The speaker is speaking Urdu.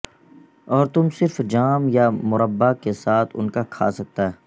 اور تم صرف جام یا مرببا کے ساتھ ان کا کھا سکتا